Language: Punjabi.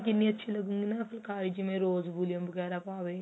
ਕਿੰਨੀ ਅੱਛੀ ਲੱਗੂਗੀ ਫੁਲਕਾਰੀ ਜਿਵੇਂ ਰੋਜ Valium ਵਗੇਰਾ ਪਾਵੇ